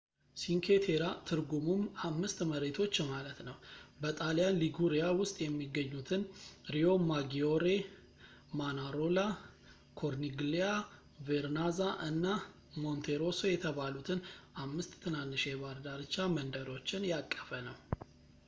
ሲንኬ ቴራ፣ ትርጉሙም አምስት መሬቶች ማለት ነው፣ በጣሊያን ሊጉሪያ ውስጥ የሚገኙትን ሪዮማጊዮሬ ፣ ማናሮላ ፣ ኮርኒግሊያ ፣ ቬርናዛ እና ሞንቴሮሶ የተባሉትን አምስት ትናንሽ የባህር ዳርቻ መንደሮችን ያቀፈ ነው